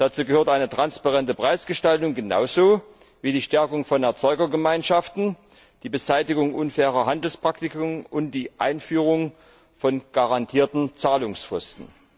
Dazu gehört eine transparente Preisgestaltung genauso wie die Stärkung von Erzeugergemeinschaften, die Beseitigung unfairer Handelspraktiken und die Einführung von garantierten Zahlungsfristen.